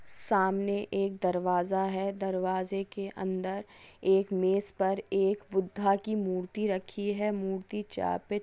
सामने एक दर-वाजा हेदर-वाजा के अन्दर एक मेस पर एक बुद्धा की मूर्ति रखी हे मूर्ति चा पॆ --